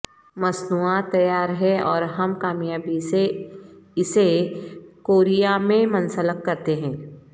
مصنوعات تیار ہے اور ہم کامیابی سے اسے کوریہ میں منسلک کرتے ہیں